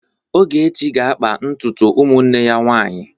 Ogechi ga-akpa ntutu ụmụnne ya nwaanyị.